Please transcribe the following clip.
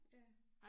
Ja